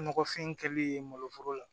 Nɔgɔfin kɛli ye malo foro la